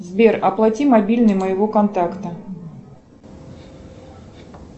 сбер оплати мобильный моего контакта